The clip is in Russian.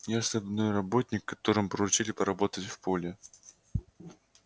я штабной работник которому поручили поработать в поле